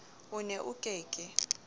o ne o ke ke